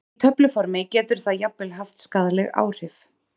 Í töfluformi getur það jafnvel haft skaðleg áhrif.